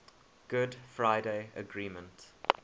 good friday agreement